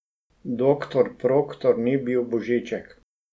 Doktor Proktor ni bil božiček.